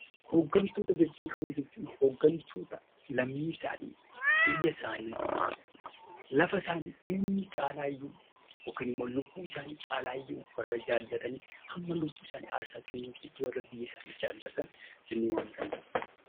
Hooggantoota bebbeekamoo jechuun hooggantoota lammii isaanii, biyya isaanii, lafa isaanii eenyuun caalaayyuu yookiin immoo lubbuu isaanii caalaayyuu warra jaallatanii hamma lubbuu isaanii aarsaa kennuufiitti warra biyya isaanii jaallatan jennee waamuu dandeenya.